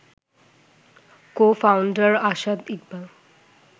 co-founder Asad Iqbal